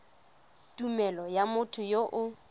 tumelelo ya motho yo o